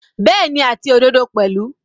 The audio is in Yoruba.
Bẹ́ẹ̀ni, àti òdodo pẹ̀lú.